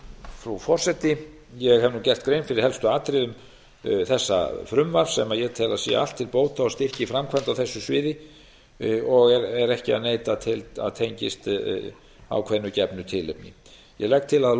frú forseti ég hef nú gert grein fyrir helstu atriðum þessa frumvarps sem ég tel að sé allt til bóta og styrki framkvæmd á þessu sviði og er ekki að neita að tengist ákveðnu gefnu tilefni ég legg til að